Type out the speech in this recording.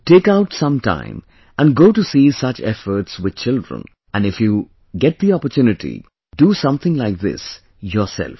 Take out some time and go to see such efforts with children and if you get the opportunity, do something like this yourself